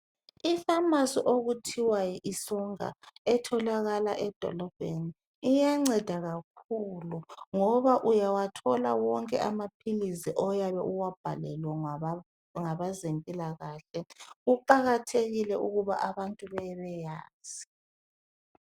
Ipharmacy okuthiwa yilsonga etholakala edolobheni. Iyanceda kakhulu ngoba uyawathola wonke anaphilisi oyabe uwabhalelwe ngabezempilakahle. Kuqakathekike ukuthi abantu babeyazi.